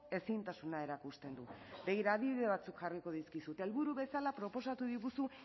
ezintasuna erakusten du begira adibide batzuk jarriko dizkizut helburu bezala proposatu diguzu